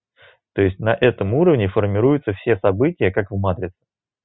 то есть на этом уровне формируются все события как в матрице